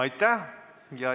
Aitäh!